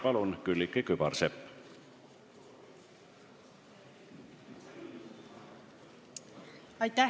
Palun, Külliki Kübarsepp!